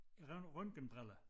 Røntgenbriller